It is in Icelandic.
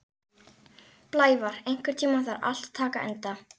Blævar, einhvern tímann þarf allt að taka enda.